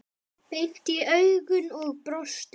Beint í augun og brosti.